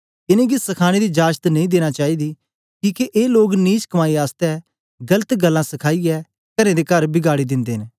इनेंगी सखानें दी जाजत नेई देनां चाईदी किके ए लोग नीच कमाई आसतै गलत गल्लां सिखाइयै करें दे कर बिगाड़ी दिंदे न